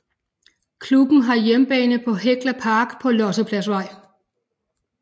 Klubben har hjemmebane på Hekla Park på Lossepladsvej